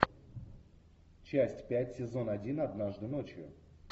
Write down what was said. часть пять сезон один однажды ночью